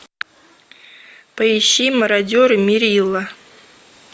поищи мародеры меррилла